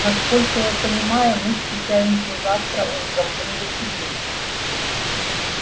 насколько я понимаю мы встречаемся завтра утром в университете